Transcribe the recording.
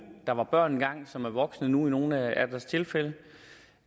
der var børn engang og som er voksne nu i nogle af tilfældene